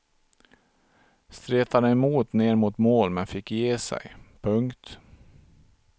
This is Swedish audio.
Stretade emot ner mot mål men fick ge sig. punkt